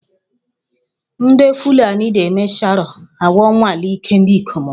Ndị Fulani na-eme Sharo ka ha nwalee ike ndị ikom ha